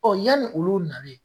yanni olu nalen